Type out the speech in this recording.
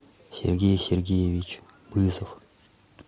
сергей сергеевич бызов